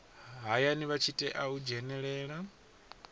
hayani vha tea u dzhenelela